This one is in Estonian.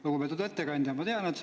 Lugupeetud ettekandja!